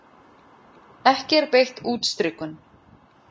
Ekki er beitt útstrikun.